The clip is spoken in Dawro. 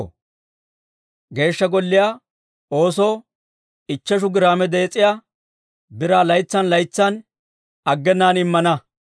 «Geeshsha Golliyaa oosoo ichcheshu giraame dees'iyaa biraa laytsan laytsan aggenaan immana.